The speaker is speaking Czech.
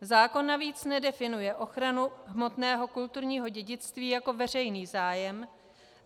Zákon navíc nedefinuje ochranu hmotného kulturního dědictví jako veřejný zájem.